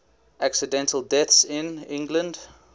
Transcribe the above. accidental deaths in england